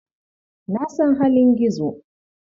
Na san halin Gizo.